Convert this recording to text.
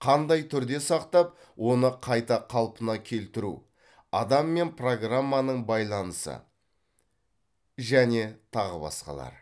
қандай түрде сақтап оны қайта қалпына келтіру адам мен программаның байланысы және тағы басқалары